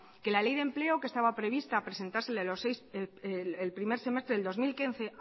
que la ley de empleo que estaba prevista presentarse el primer semestre del dos mil quince